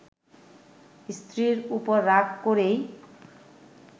স্ত্রীর ওপর রাগ করেই